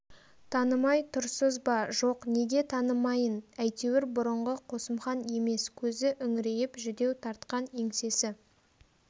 танымай тұрсыз ба жоқ неге танымайын әйтеуір бұрынғы қосымхан емес көзі үңірейіп жүдеу тартқан еңсесі